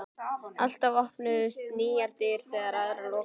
Alltaf opnuðust nýjar dyr þegar aðrar lokuðust.